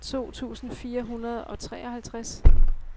to tusind fire hundrede og treoghalvtreds